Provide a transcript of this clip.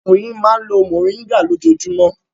Ọkùnrin yìí máa ń lo mòríngà lójoojúmọ́.